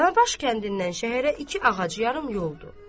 Danabaş kəndindən şəhərə iki ağac yarım yoldur.